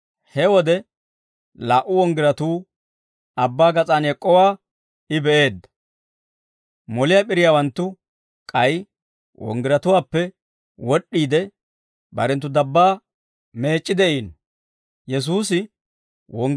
He wode laa"u wonggiratuu Abbaa gas'aan ek'k'owaa I be'eedda; moliyaa p'iriyaawanttu k'ay wonggiratuwaappe wod'd'iide barenttu dabbaa meec'c'i de'iino. Moliyaa p'iriyaawanttu barenttu wongiriyan